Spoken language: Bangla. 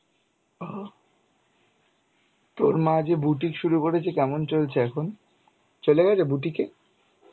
ও তোর মা যে বুটিক শুরু করেছে কেমন চলছে এখন? চলে গেছে বুটিকে?